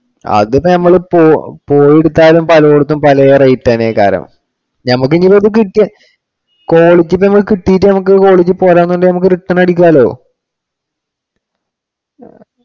അതിപ്പോ നമ്മള് പൊയ്യ~ പോയെടുത്താലും പലേടത്തും പലേ rate തന്നെയാ കാലം. നമ്മുക്ക് ഇനീപ്പോ അത് കിട്ടിയ quality നമുക്ക് കിട്ടിയിട്ട് quality പോരാന്നുണ്ടെങ്കിൽ നമുക്ക് return അടിക്കാലോ.